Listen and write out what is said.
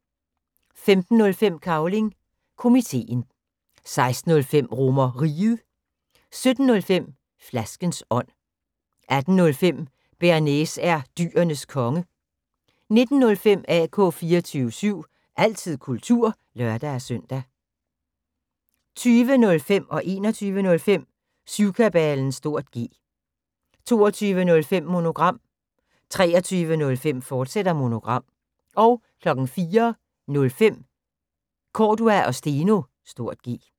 15:05: Cavling Komiteen 16:05: RomerRiget 17:05: Flaskens ånd 18:05: Bearnaise er Dyrenes Konge 19:05: AK 24syv – altid kultur (lør-søn) 20:05: Syvkabalen (G) 21:05: Syvkabalen (G) 22:05: Monogram 23:05: Monogram, fortsat 04:05: Cordua & Steno (G)